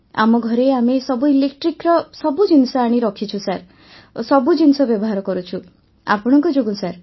ଆମ ଘରେ ଆମେ ସବୁ ଇଲେକ୍ଟ୍ରିକ୍ର ସବୁ ଜିନିଷ ଆଣି ରଖିଛୁ ସାର୍ ସବୁ ଜିନିଷ ବ୍ୟବହାର କରୁଛୁ ଆପଣଙ୍କ ଯୋଗୁଁ ସାର୍